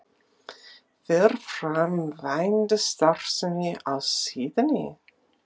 Fer fram vændisstarfsemi á síðunni?